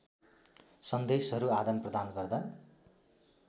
सन्देशहरू आदानप्रदान गर्दा